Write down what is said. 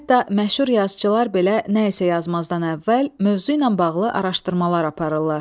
Hətta məşhur yazıçılar belə nəyisə yazmazdan əvvəl mövzu ilə bağlı araşdırmalar aparırlar.